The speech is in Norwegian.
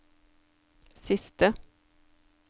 siste